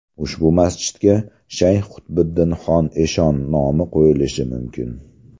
Ushbu masjidga Shayx Qutbiddinxon eshon nomi qo‘yilishi mumkin.